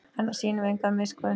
Annars sýnum við enga miskunn